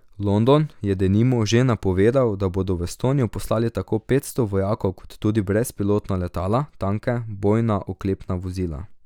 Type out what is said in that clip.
London je, denimo, že napovedal, da bodo v Estonijo poslali tako petsto vojakov kot tudi brezpilotna letala, tanke, bojna oklepna vozila.